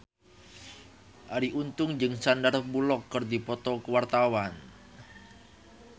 Arie Untung jeung Sandar Bullock keur dipoto ku wartawan